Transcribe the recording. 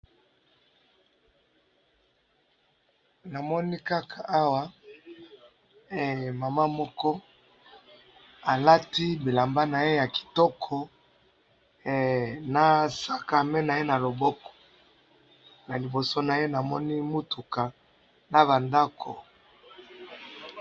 na moni kaka awa mama moko alati bilamba naye kitoko na sac a main naye na loboko na liboso naye na moni mutuka naba ndaku